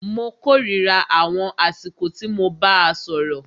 Mó kòrira àwọn àsìkò tí mo bàá sọ̀rọ̀.